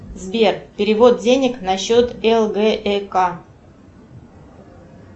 сбер перевод денег на счет лгэк